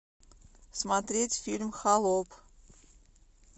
смотреть фильм холоп